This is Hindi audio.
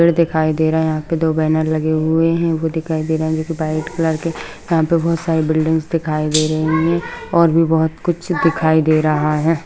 पेड़ दिखाई दे रहा है यहाँ पे दो बैनर लगे हुए हैं वो दिखाई दे रहा है जो कि वाइट कलर के यहाँ पे बहुत सारी बिल्डिंग्स दिखाई दे रही हैं और भी बहुत कुछ दिखाई दे रहा है।